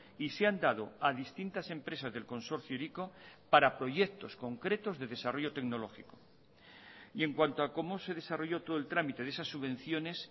y se han dado a distintas empresas del consorcio hiriko para proyectos concretos de desarrollo tecnológico y en cuanto a cómo se desarrolló todo el trámite de esas subvenciones